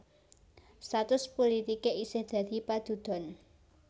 Status pulitiké isih dadi padudon